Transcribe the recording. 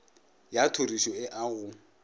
ya tlhorišo e a go